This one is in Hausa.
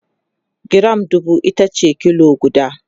giram dubu itace kilo guda